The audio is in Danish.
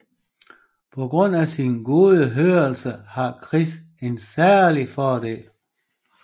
På grund af sin gode hørelse har Chris en særlig fordel